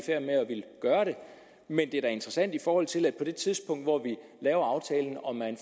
gøre det men det er da interessant i forhold til på det tidspunkt hvor vi laver aftalen om man